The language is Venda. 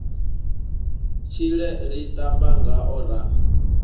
tshile ri ṱamba ngao ra